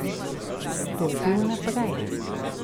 Stopil naprej.